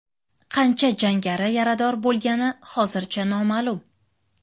Qancha jangari yarador bo‘lgani hozircha noma’lum.